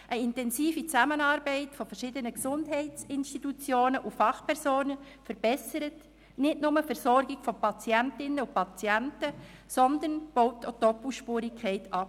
Eine intensive Zusammenarbeit verschiedener Gesundheitsinstitutionen und Fachpersonen verbessert nicht nur die Versorgung von Patientinnen und Patienten, sondern baut auch Doppelspurigkeiten ab.